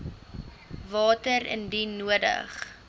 water indien nodig